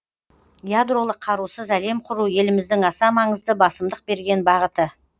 ядролық қарусыз әлем құру еліміздің аса маңызды басымдық берген бағыты